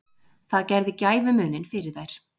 Það gerði gæfumuninn fyrir þær